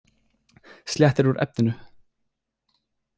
Sléttir úr efninu.